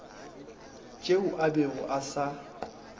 tšeo a bego a sa